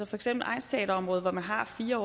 for eksempel egnsteaterområdet hvor man har fire